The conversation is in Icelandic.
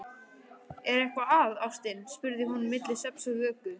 Er eitthvað að, ástin? spurði hún milli svefns og vöku.